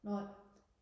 nej